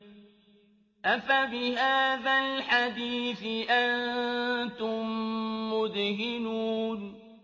أَفَبِهَٰذَا الْحَدِيثِ أَنتُم مُّدْهِنُونَ